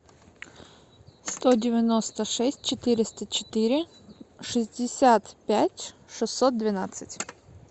сто девяносто шесть четыреста четыре шестьдесят пять шестьсот двенадцать